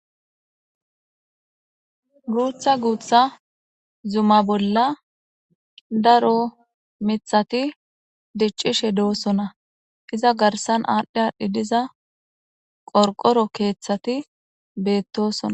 Guththa guththa zuma bolla daaro miththati diccishe doossona izza garssan adhi adhi diiza qorqqoro keththati bettossona.